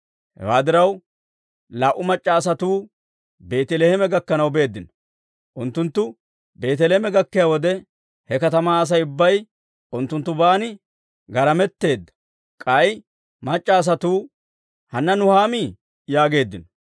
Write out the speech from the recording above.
Hewaa diraw, laa"u mac'c'a asatuu Beeteleeme gakkanaw beeddino. Unttunttu Beeteleeme gakkiyaa wode, he katamaa Asay ubbay unttunttuban maalaletteedda. K'ay mac'c'a asatuu, «Hanna Nuhaamii?» yaageeddino.